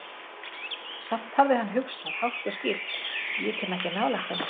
Samt hafði hann hugsað, hátt og skýrt: Ég kem ekki nálægt henni.